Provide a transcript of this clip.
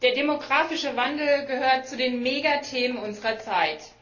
Der demografische Wandel gehört zu den Megathemen unserer Zeit.